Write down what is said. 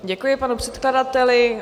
Děkuji panu předkladateli.